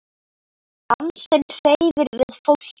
Dansinn hreyfir við fólki.